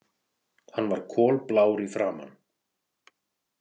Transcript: Hann var kolblár í framan.